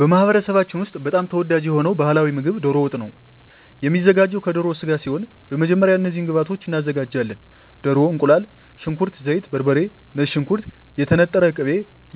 በማኅበረሰባችን ውስጥ በጣም ተወዳጅ የሆነው ባሕላዊ ምግብ ደሮ ወጥ ነው የሚዘጋው ከደሮ ስጋ ሲሆን በመጀመሪያ እነዚህን ግብአቶች እናዘጋጃለን። ደሮ፣ እቁላል፣ ሽንኩርት፣ ዘይት፣ በርበሬ፣ ነጭ ሽንኩርት፣ የተነጠረ ቅቤ፣